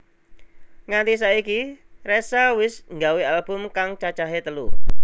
Nganti saiki Ressa wis nggawe album kang cacahe telu